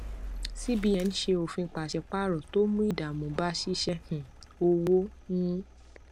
cbn ṣe òfin paṣípààrọ tó mú ìdààmú bá ṣíṣe um òwò um